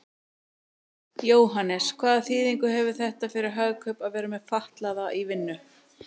Jóhannes: Hvaða þýðingu hefur þetta fyrir Hagkaup að vera með fatlaða í vinnu?